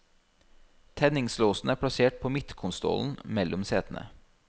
Tenningslåsen er plassert på midtkonsollen mellom setene.